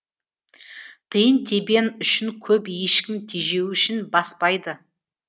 тиын тебен үшін көп ешкім тежеу ішін баспайды